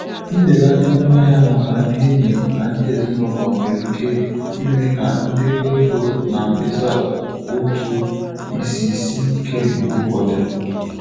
Mbelata ọnụahịa maka ndị enyi na ndị ezinụlọ nwere ike ime ka ndekọ ego na mkpesa ụtụ isi sie ike mgbe ụfọdụ.